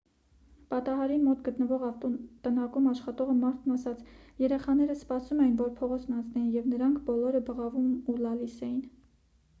պատահարին մոտ գտնվող ավտոտնակում աշխատող մարդն ասաց.«երեխաները սպասում էին որ փողոցն անցնեին և նրանք բոլոր բղավում ու լալիս էին»։